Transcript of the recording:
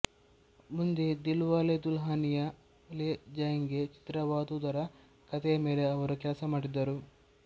ಮುಂದೆ ದಿಲ್ವಾಲೆ ದುಲ್ಹನಿಯಾ ಲೇ ಜಾಯೇಂಗೆ ಚಿತ್ರವಾದದುದರ ಕಥೆಯ ಮೇಲೆ ಅವರು ಕೆಲಸ ಮಾಡಿದರು